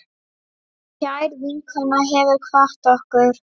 Kær vinkona hefur kvatt okkur.